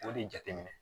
O de jateminɛ